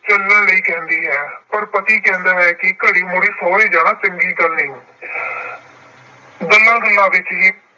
ਚੱਲਣ ਲਈ ਕਹਿੰਦੀ ਹੈ ਪਰ ਪਤੀ ਕਹਿੰਦਾ ਹੈ ਕਿ ਘੜੀ-ਮੁਢੀ ਸਹੁਰੇ ਜਾਣਾ ਚੰਗੀ ਗੱਲ ਨਹੀਂ। ਗੱਲਾਂ-ਗੱਲਾਂ ਵਿੱਚ ਹੀ